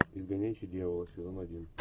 изгоняющий дьявола сезон один